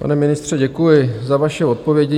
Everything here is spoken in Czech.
Pane ministře, děkuji za vaše odpovědi.